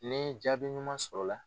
NI jaabi ɲuman sɔrɔla la